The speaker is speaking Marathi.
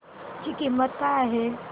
ची किंमत काय आहे